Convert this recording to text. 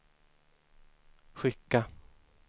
skicka